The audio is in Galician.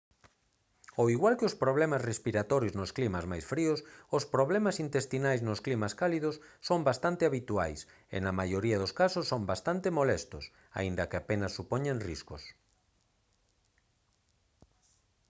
ao igual que os problemas respiratorios nos climas máis fríos os problemas intestinais nos climas cálidos son bastante habituais e na maioría dos casos son bastante molestos aínda que apenas supoñen riscos